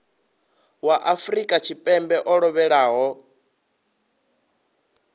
wa afrika tshipembe o lovhelaho